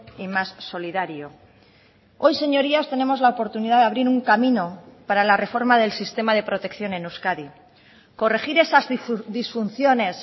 y más solidario hoy señorías tenemos la oportunidad de abrir un camino para la reforma del sistema de protección en euskadi corregir esas disfunciones